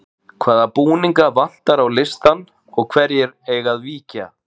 Hvaða búninga vantar á listann og hverjir eiga að víkja?